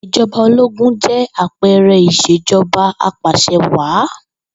Ìj̩o̩ba ológun jé̩ àpe̩e̩re̩ ìs̩èjo̩ba apàs̩ewàá